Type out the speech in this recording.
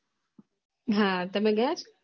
હા તમે ગયા